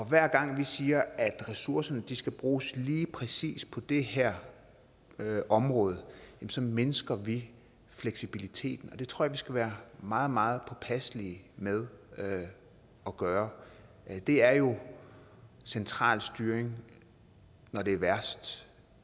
hver gang vi siger at ressourcerne skal bruges lige præcis på det her område så mindsker vi fleksibiliteten og det tror jeg vi skal være meget meget påpasselige med at gøre det er jo central styring når det er værst